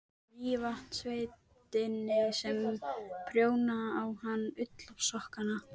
Það var barnsgrátur sem kom undan seglinu.